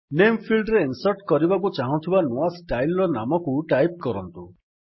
ନାମେ ଫିଲ୍ଡ୍ ରେ ଇନ୍ସର୍ଟ୍ କରିବାକୁ ଚାହୁଁଥିବା ନୂଆ ଷ୍ଟାଇଲ୍ ର ନାମକୁ ଟାଇପ୍ କରନ୍ତୁ